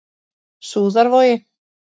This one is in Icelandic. Súðarvogi